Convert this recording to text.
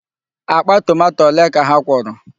Akpa tomato ole ka ha kwọrọ?